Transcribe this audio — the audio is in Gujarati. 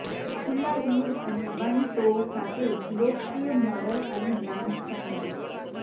ખુલ્લા હીલ અને બંધ ટો સાથે લોકપ્રિય મોડલ અને બ્રાન્ડ સેન્ડલ